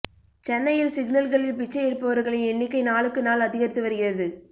சென்னையில் சிக்னல்களில் பிச்சை எடுப்பவர்களின் எண்ணிக்கை நாளுக்கு நாள் அதிகரித்து வருகிறது